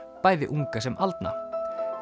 bæði unga sem aldna